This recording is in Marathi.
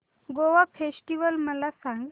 गोवा फेस्टिवल मला सांग